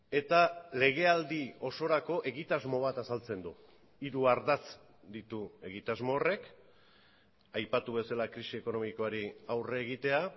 eta legealdi osorako egitasmo bat azaltzen du hiru ardatz ditu egitasmo horrek aipatu bezala krisi ekonomikoari aurre egitea